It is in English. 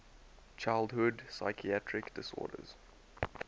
childhood psychiatric disorders